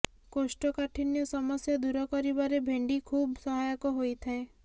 କୋଷ୍ଠକାଠିନ୍ୟ ସମସ୍ୟା ଦୂର କରିବାରେ ଭେଣ୍ଡି ଖୁବ୍ ସହାୟକ ହୋଇଥାଏ